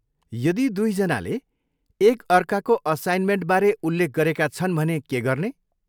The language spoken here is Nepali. यदि दुई जनाले एक अर्काको असाइनमेन्टबारे उल्लेख गरेका छन् भने के गर्ने?